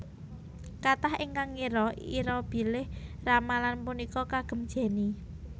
Kathah ingkang ngira ira bilih ramalan punika kagem Jenny